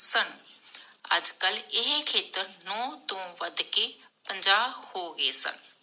ਸਨ ਅਜਕਲ ਇਹ ਖੇਤਰ ਨੌ ਤੋਂ ਵੱਧ ਕੇ ਪੰਜਾਹ ਹੋ ਗਏ ਸਨ